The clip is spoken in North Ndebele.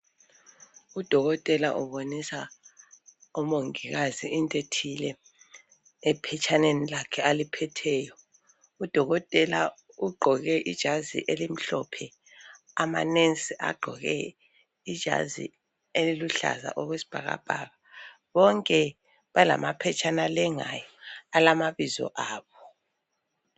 Udokotela ubonisa omongikazi into ethile ephetshaneni lakhe aliphetheyo udokotela ugqoke ijazi elimhlophe ama "nurse" agqoke ijazi eliluhlaza okwesibhakabhaka bonke balama phetshana alengayo alamabizo abo.